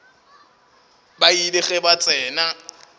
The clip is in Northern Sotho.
ba ile ge ba tsena